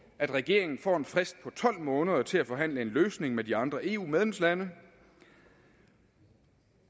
at regeringen får en frist på tolv måneder til at forhandle en løsning med de andre eu medlemslande